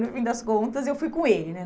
No fim das contas, eu fui com ele, né?